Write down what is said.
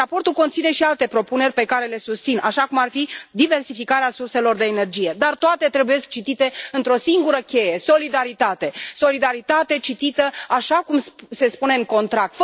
Raportul conține și alte propuneri pe care le susțin, cum ar fi diversificarea surselor de energie, dar toate trebuie citite într o singură cheie solidaritate, solidaritate citită așa cum se spune în contract.